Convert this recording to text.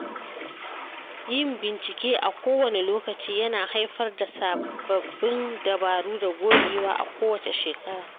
Yin bincike a kowane lokaci ya na haifar da sabbin dabaru da gogewa a kowace shekara.